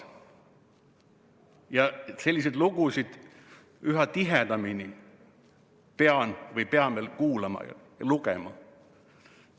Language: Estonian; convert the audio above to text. Ja selliseid lugusid peame üha tihedamini kuulama ja lugema.